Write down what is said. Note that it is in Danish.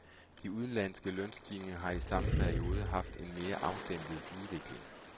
De udenlandske lønstigninger har i samme periode haft en mere afdæmpet udvikling.